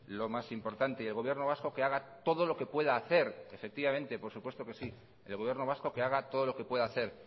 lo más importante y el gobierno vasco que haga todo lo que pueda hacer efectivamente por supuesto que sí el gobierno vasco que haga todo lo que puede hacer